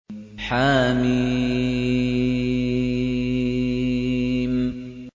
حم